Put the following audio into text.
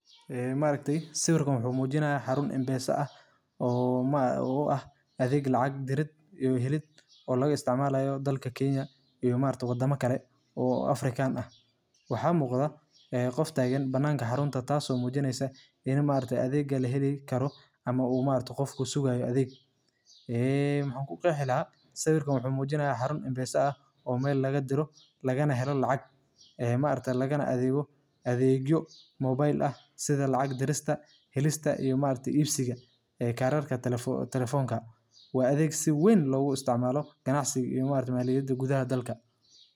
Waa adeeg lacag-bixineed oo casri ah oo loo isticmaalo in lagu diro, lagu helo, laguna kaydiyo lacag iyada oo la adeegsanayo taleefanka gacanta, gaar ahaan waddamada Afrika sida Kenya, Tanzania, iyo Soomaaliya. Adeeggan ayaa si weyn uga caawiya dadka aan haysan akoon bangi inay si fudud u maareeyaan lacagtooda iyaga oo aan u baahnayn inay booqdaan bangiyada ama hay’adaha lacagta.